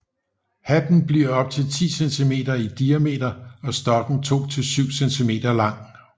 Hatten bliver op til 10 centimeter i diameter og stokken 2 til 7 cm lang